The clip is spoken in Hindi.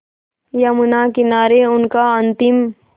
यमुना किनारे उनका अंतिम